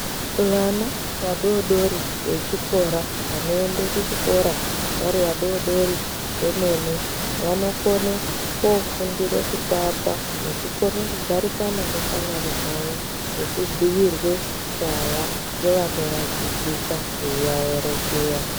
Vana vadodori vechikora ,vanoende kuchikora vari vadodori vemene, vanokone koofundire kutamba nekukone kugarisana neshamwari dzavo nekubhuirwe nyaya ngevanovadzidzisa veiaerengera.